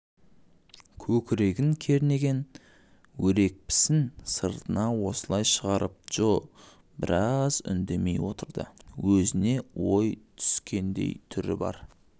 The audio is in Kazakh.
көкірегін кернеген өрекпісін сыртына осылай шығарып джо біраз үндемей отырды өзіне ой түскендей түрі бар